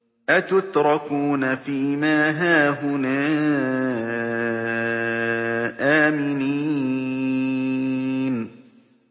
أَتُتْرَكُونَ فِي مَا هَاهُنَا آمِنِينَ